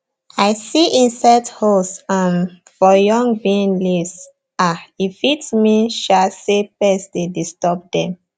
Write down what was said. i see insect holes um for young bean leaves um e fit mean um say pests dey disturb dem